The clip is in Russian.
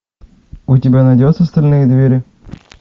у тебя найдется стальные двери